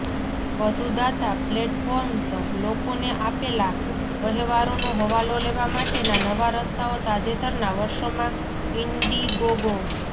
વધુ દાતા પ્લેટફોર્મ્સ લોકોને આપેલા વહેવારોનો હવાલો લેવા માટેના નવા રસ્તાઓ તાજેતરના વર્ષોમાં ઇન્ડિગોગો